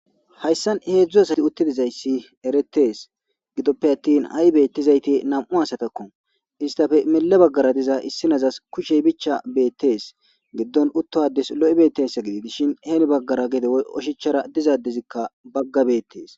hayssan heedzdzu asati uttidizayssi eretees gidoppe attin ha7i beettizayti nam7u asatakko istafe mile baggara diza issi nazas kushey bicha beettees giddon utto ades lo7i bettessa gidi dishin heeni baggara gede woy oshichara dizadezikka bagga beettees